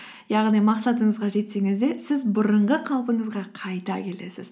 яғни мақсатыңызға жетсеңіз де сіз бұрынғы қалпыңызға қайта келесіз